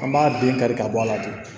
An b'a den kari ka bɔ a la ten